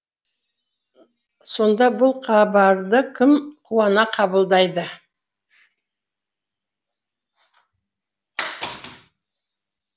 сонда бұл хабарды кім қуана қабылдайды